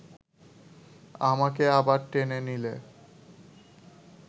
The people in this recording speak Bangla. আমাকে আবার টেনে নিলে